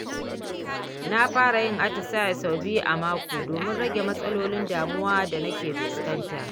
Na fara yin atisaye sau biyu a mako domin rage matsalolin damuwa da na ke fuskanta.